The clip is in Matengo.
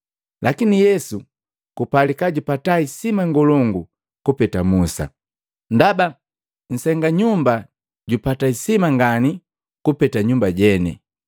Lakini Yesu kupalika jupata hisima ngolongu kupeta Musa ndaba nsenga nyumba jupata hisima ngani kupeta nyumba jene.